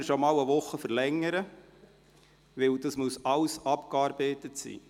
Sie können die Novembersession bereits um eine Woche verlängern, denn das muss alles abgearbeitet werden.